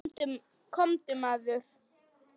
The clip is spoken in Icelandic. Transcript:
Komdu, maður.